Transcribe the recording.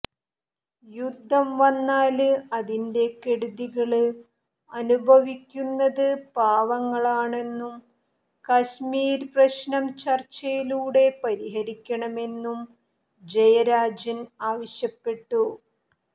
യുദ്ധം വന്നാല് അതിന്റെ കെടുതികള് അനുഭവിക്കുന്നത് പാവങ്ങളാണെന്നും കശ്മീര് പ്രശ്നം ചര്ച്ചയിലൂടെ പരിഹരിക്കണമെന്നും ജയരാജന് ആവശ്യപ്പെട്ടു